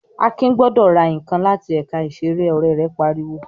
"Akin gbọdọ̀ ra nǹkan láti ẹ̀ka ìṣeré!" Ọ̀rẹ́ rẹ̀ pariwo.